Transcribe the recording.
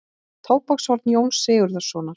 Tóbakshorn Jóns Sigurðssonar.